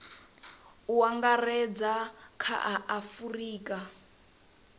u angaredza kha a afurika